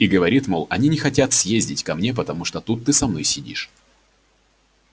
и говорит мол они не хотят подходить ко мне потому что ты тут со мной сидишь